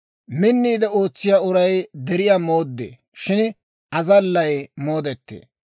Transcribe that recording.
Minniide ootsiyaa uray deriyaa mooddee; shin azallay moodettee.